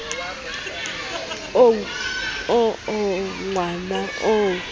oo o o nwang o